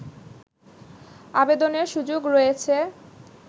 আবেদনের সুযোগ রয়েছে